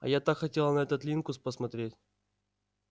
а я так хотела на этот линкус посмотреть